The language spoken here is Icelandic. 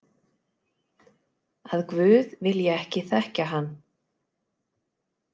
Að guð vilji ekki þekkja hann.